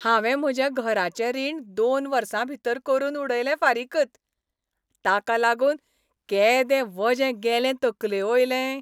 हांवें म्हजें घराचें रीण दोन वर्सां भितर करून उडयलें फारीकत, ताका लागून केदें वजें गेलें तकलेवयलें.